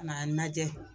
Ka n'a lajɛ